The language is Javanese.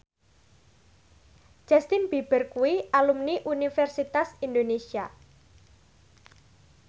Justin Beiber kuwi alumni Universitas Indonesia